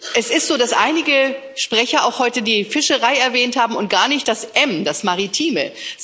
Es ist so, dass einige Sprecher auch heute die Fischerei erwähnt haben und gar nicht das M, das Maritime.